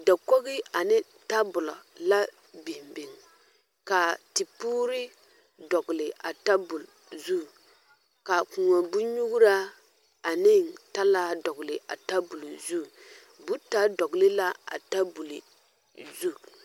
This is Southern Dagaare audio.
Dakogi ane tabola la biŋ biŋ ka tepuuri dɔgle a tabuol zu ka koɔ bonnyuuraa ane talaa dɔgle a tabuol zu boota dɔgle la a tabol zu.